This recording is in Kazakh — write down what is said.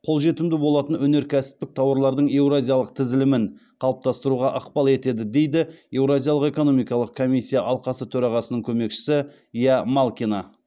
қолжетімді болатын өнеркәсіптік тауарлардың еуразиялық тізілімін қалыптастыруға ықпал етеді дейді еуразиялық экономикалық комиссия алқасы төрағасының көмекшісі ия малкина